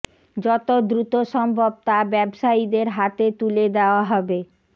যত দ্রুত সম্ভব তা ব্যবসায়ীদের হাতে তুলে দেওয়া হবে